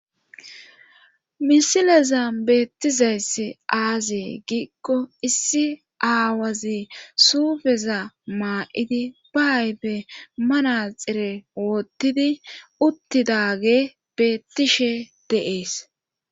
Misileza beettizayss aazee giikko issi aawazi suufeza maa7idi ba aybe manaxire woottidi uttidage beettishe deees